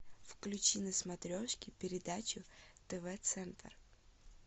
включи на смотрешке передачу тв центр